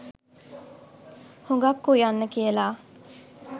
හුඟක් උයන්න කියල.